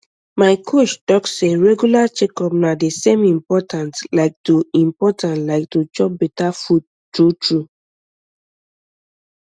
my coach talk say regular checkup na the same important like to important like to chop better food true true